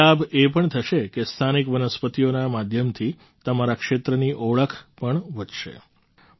એક લાભ એ પણ થશે કે સ્થાનિક વનસ્પતિઓના માધ્યમથી તમારા ક્ષેત્રની ઓળખ પણ વધશે